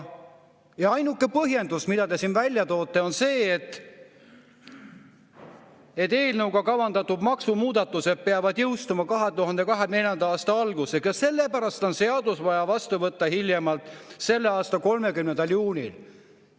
Ja ainuke põhjendus, mida te siin välja toote, on see, et eelnõuga kavandatud maksumuudatused peavad jõustuma 2024. aasta alguses, sellepärast on seadus vaja vastu võtta hiljemalt selle aasta 30. juunil.